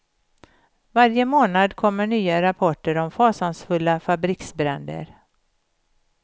Varje månad kommer nya rapporter om fasansfulla fabriksbränder.